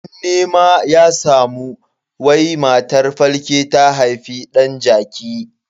Abun nema ya samu wai matar falke ta haifi dan jaki.